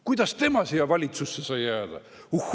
Kuidas tema siia valitsusse sai jääda?